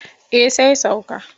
Eh sai sauka.